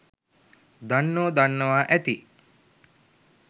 දන්නෝ දන්නවා ඇති